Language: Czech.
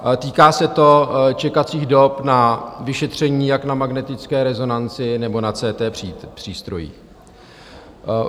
Týká se to čekacích dob na vyšetření jak na magnetické rezonanci, nebo na CT přístrojích.